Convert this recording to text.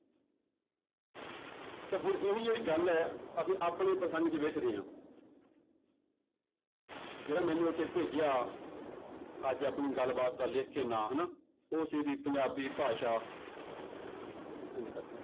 ਤਾਂਂ ਹੁਣ ਇਹ ਵੀ ਜਿਹੜੀ ਗੱਲ ਹੈ ਅਸੀਂ ਆਪਣੇ ਪ੍ਰਸੰਗ ਚ ਵੇਖਦੇ ਹਾਂ ਜਿਹੜਾ ਮੈਨੂੰ ਉੱਥੇ ਭੇਜਿਆ ਅੱਜ ਆਪਣੀ ਗੱਲਬਾਤ ਦਾ ਲਿਖ ਕੇ ਨਾਂ ਹਨਾ ਉਹ ਸੀ ਵੀ ਪੰਜਾਬੀ ਭਾਸ਼ਾ